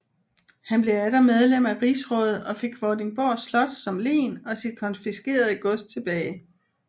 Han blev atter medlem af rigsrådet og fik Vordingborg Slot som len og sit konfiskerede gods tilbage